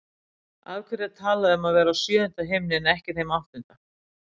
Af hverju er talað um að vera í sjöunda himni en ekki þeim áttunda?